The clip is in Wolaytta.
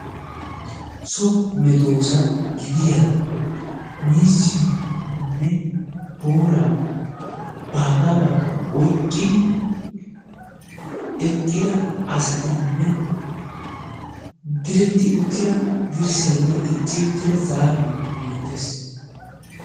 so medoosa gidiya miizziyonne booraa baagaa baagaa oyqqid i eqida asatinne direti uttida dirsay beetees.